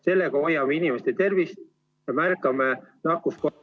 Sellega hoiame inimeste tervist ja märkame nakkus ...